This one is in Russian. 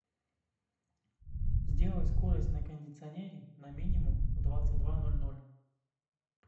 сделай скорость на кондиционере на минимум в двадцать два ноль ноль